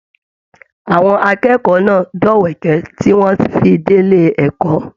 Àwọn akẹ́kọ̀ọ́ náà dọ̀wẹ̀kẹ̀ tí wọn fí dé ilé ẹ̀kọ́.